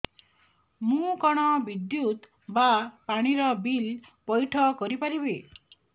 ମୁ କଣ ବିଦ୍ୟୁତ ବା ପାଣି ର ବିଲ ପଇଠ କରି ପାରିବି